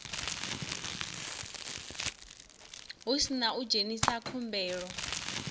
hu sina u dzhenisa khumbelo